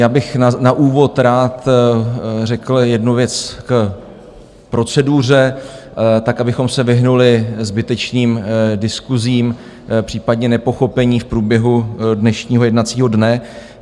Já bych na úvod rád řekl jednu věc k proceduře, tak abychom se vyhnuli zbytečným diskusím, případně nepochopení v průběhu dnešního jednacího dne.